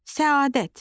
Səadət